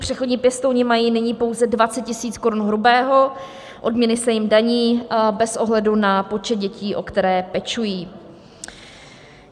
Přechodní pěstouni mají nyní pouze 20 000 korun hrubého, odměny se jim daní bez ohledu na počet dětí, o které pečují.